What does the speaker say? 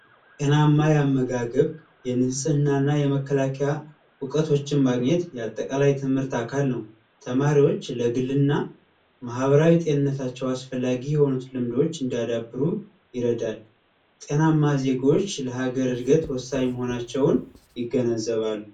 ጤናማ የአመጋገብና የንጽህና የመከላከያ ዕውቀቶች ማግኘት የትምህርት አካል ነው። ተማሪዎች ለትምህርታቸው የሚያስፈልጓቸው ነገሮችን እንዲያዳብሩ ይረዳል። ጤናማ ዜጎች ለሀገር እድገት ወሳኝ መሆናቸውን ይገነዘባሉ።